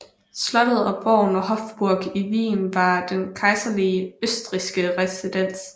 Slottet og borgen Hofburg i Wien var den kejserlige østrigske residens